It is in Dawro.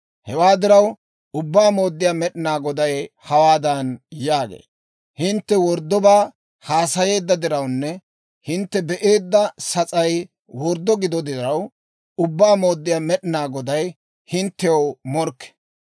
Hewaa diraw, Ubbaa Mooddiyaa Med'inaa Goday hawaadan yaagee; «Hintte worddobaa haasayeedda dirawunne hintte be"eedda sas'ay worddo gido diraw, Ubbaa Mooddiyaa Med'inaa Goday hinttew morkke.